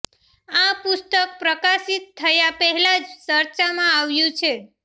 આ પુસ્તક પ્રકાશિત થયા પહેલા જ ચર્ચામાં આવ્યું છે